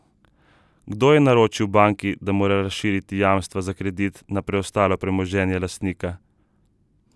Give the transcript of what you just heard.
Kdo je naročil banki, da mora razširiti jamstva za kredit na preostalo premoženje lastnika?